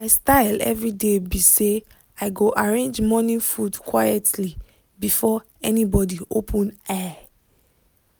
my style everyday be say i go arrange morning food quietly before anybody open eye